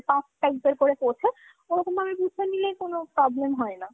puff type এর করে পোঁছে। ওরকম ভাবে পুছে নিলে কোনো problem হয়না।